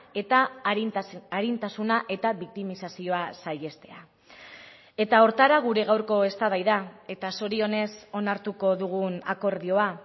eta arintasuna eta biktimizazioa saihestea eta horretara gure gaurko eztabaida eta zorionez onartuko dugun akordioa